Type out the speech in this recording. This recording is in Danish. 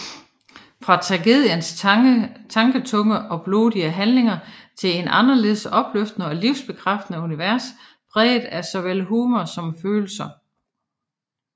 Fra tragediens tanketunge og blodige handlinger til et anderledes opløftende og livsbekræftende univers præget af såvel humor som følelser